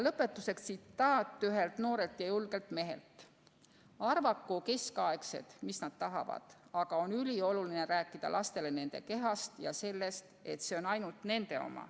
Lõpetuseks tsitaat ühelt noorelt ja julgelt mehelt: "Arvaku keskaegsed, mis nad tahavad, aga on ülioluline rääkida lastele nende kehast ja sellest, et see on ainult nende oma.